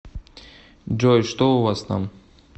джой что у вас там